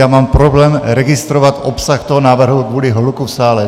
Já mám problém registrovat obsah toho návrhu kvůli hluku v sále.